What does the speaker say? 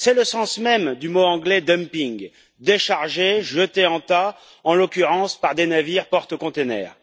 C'est le sens même du mot anglais dumping, décharger, jeter en tas, en l'occurrence par des navires porte containers.